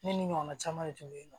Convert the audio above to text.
Ne ni ɲɔgɔnna caman de tun bɛ yen nɔ